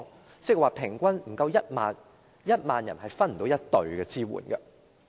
換言之，平均每1萬人也沒有1隊人手支援。